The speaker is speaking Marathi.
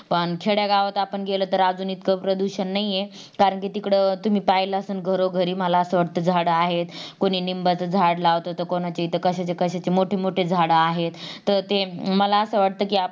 पण खेड्या गावात आपण गेला तर आजून इतका प्रदूषण नाही आहे कारण कि तिकडं तुम्ही पाहिलात असाल कि घरोघरी मला अस वाटत झाड आहेत कुणी निंबाचं झाड लावत तर कुणाच्या इथं कश्याचे कश्याचे मोठे मोठे झाडे आहेत तर ते मला असं वाटत कि आपण